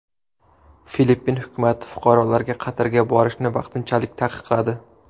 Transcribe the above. Filippin hukumat fuqarolarga Qatarga borishni vaqtinchalik taqiqladi.